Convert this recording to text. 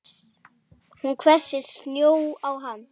Hún hvessir sjónir á hann.